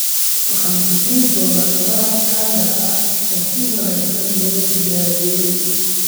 Waxaan ku siin doonaa maraq kanga ah oo si wanaagsan loo diyaariyey.